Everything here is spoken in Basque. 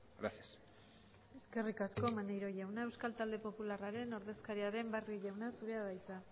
gracias eskerrik asko maneiro jauna euskal talde popularraren ordezkaria den barrio jauna zurea da hitza